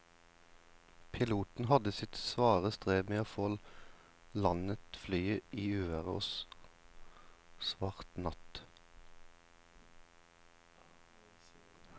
Piloten hadde sitt svare strev med å få landet flyet i uvær og svart natt.